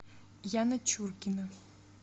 яна чуркина